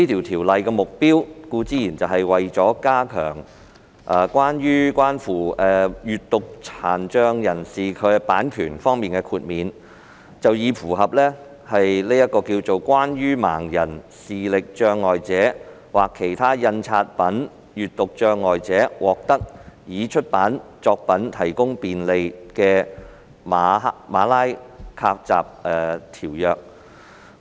《條例草案》的目的是加強與閱讀殘障人士有關的版權豁免，以符合《關於為盲人、視力障礙者或其他印刷品閱讀障礙者獲得已出版作品提供便利的馬拉喀什條約》。